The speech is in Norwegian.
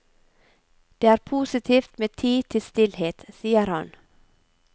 Det er positivt med tid til stillhet, sier han.